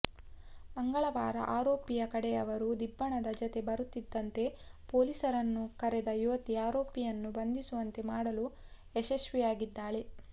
ಮಂಗಳವಾರ ಆರೋಪಿಯ ಕಡೆಯವರು ದಿಬ್ಬಣದ ಜತೆ ಬರುತ್ತಿದ್ದಂತೆ ಪೊಲೀಸರನ್ನು ಕರೆದ ಯುವತಿ ಆರೋಪಿಯನ್ನು ಬಂಧಿಸುವಂತೆ ಮಾಡಲು ಯಶಸ್ವಿಯಾಗಿದ್ದಾಳೆ